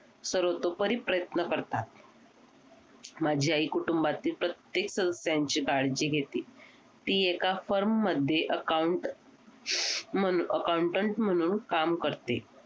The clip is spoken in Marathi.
सर्वोतपरी प्रयन्त करतात माझी आई कुटुंबातील प्रत्येक सदस्यांची काळजी घेते ती एका firm मध्ये Account Accountant म्हणून काम करते